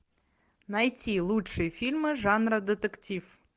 найти лучшие фильмы жанра детектив